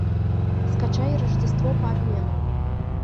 скачай рождество по обмену